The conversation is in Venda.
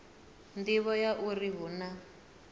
nḓivho ya uri hu na